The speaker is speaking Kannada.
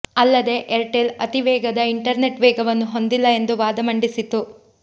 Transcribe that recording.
ಅಲ್ಲದೇ ಏರ್ಟೆಲ್ ಅತೀ ವೇಗದ ಇಂಟರ್ನೆಟ್ ವೇಗವನ್ನು ಹೊಂದಿಲ್ಲ ಎಂದು ವಾದ ಮಂಡಿಸಿತ್ತು